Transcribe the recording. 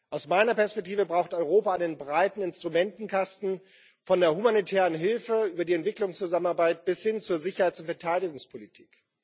Aus meiner Perspektive braucht Europa einen breiten Instrumentenkasten von der humanitären Hilfe über die Entwicklungszusammenarbeit bis hin zur Sicherheits und Verteidigungspolitik.